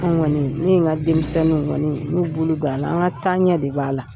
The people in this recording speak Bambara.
Anw kɔni, ne n'i ka denmisɛnninw kɔni, y'u bolo d'a la. An ka taaɲɛ de b'a la.